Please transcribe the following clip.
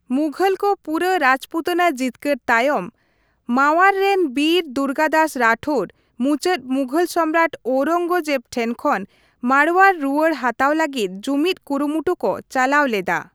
ᱢᱩᱜᱷᱚᱞ ᱠᱚ ᱯᱩᱨᱟᱹ ᱨᱟᱡᱽᱯᱩᱛᱟᱱᱟ ᱡᱤᱛᱠᱟᱹᱨ ᱛᱟᱭᱚᱢ, ᱢᱟᱣᱟᱨ ᱨᱮᱱ ᱵᱤᱨ ᱫᱩᱨᱜᱟᱹᱫᱟᱥ ᱨᱟᱴᱷᱳᱨ ᱢᱩᱪᱟᱹᱫ ᱢᱩᱜᱷᱳᱞ ᱥᱚᱢᱨᱟᱴ ᱳᱣᱨᱚᱝᱜᱚᱡᱮᱵᱽ ᱴᱷᱮᱱ ᱠᱷᱚᱱ ᱢᱟᱨᱣᱟᱲ ᱨᱩᱣᱟᱹᱲ ᱦᱟᱛᱟᱣ ᱞᱟᱹᱜᱤᱛ ᱡᱩᱢᱤᱫ ᱠᱩᱨᱩᱢᱩᱴᱩ ᱠᱚ ᱪᱟᱞᱟᱣ ᱞᱮᱫᱟ ᱾